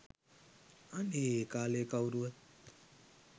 අනේ ඒ කාලේ කවුරුවත්